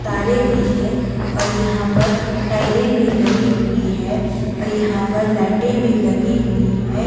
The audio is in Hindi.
तारें भी है और यहां पर टाइलें भी लगी हुई है और यहां पर लाइटें भी लगी हुई है।